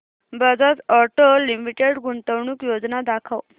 Bajaj auto limited गुंतवणूक योजना दाखव